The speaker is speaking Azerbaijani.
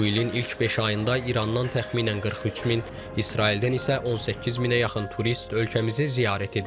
Bu ilin ilk beş ayında İrandan təxminən 43 min, İsraildən isə 18 minə yaxın turist ölkəmizi ziyarət edib.